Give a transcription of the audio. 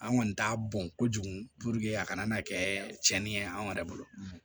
An kɔni t'a bɔn kojugu a kana kɛ tiɲɛni ye anw yɛrɛ bolo